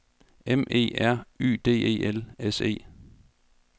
M E R Y D E L S E